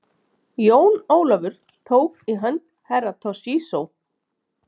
Jón Ólafur tók í hönd Herra Toshizo.